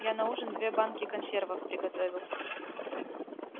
я на ужин две банки консервов приготовил